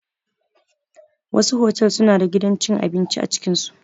Wasu otal suna da gidan cin abinci a cikin su.